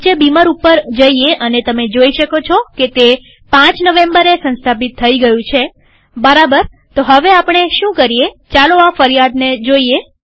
નીચે બીમર ઉપર જઈએ અને તમે જોઈ શકો છો કે તે ૫ નવેમ્બરે સંસ્થાપિત થઇ ગયું છેબરાબરતો હવે આપણે શું કરીએચાલો આ ફરિયાદને જોઈએ